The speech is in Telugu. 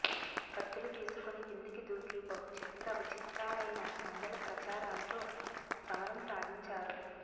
కత్తులు తీసుకుని కిందికి దూకి బహు చిత్ర విచిత్రాలైన మండలప్రచారాల్తో సమరం సాగించారు